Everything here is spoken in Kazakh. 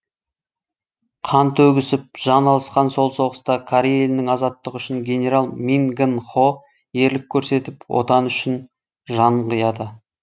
қан төгісіп жан алысқан сол соғыста корей елінің азаттығы үшін генерал мин гын хо ерлік көрсетіп отаны үшін жанын қияды